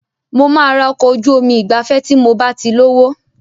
Mo máa ra ọkọ̀ ojú omi ìgbafẹ́ tí mob á ti lówó.